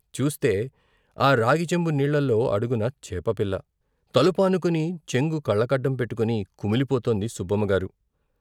చూస్తే, ఆ రాగిచెంబు నీళ్ళలో అడుగున చేపపిల్ల. తలు పానుకుని చెంగు కళ్ళకడ్డంపెట్టుకుని కుమిలిపోతోంది సుబ్బమ్మగారు.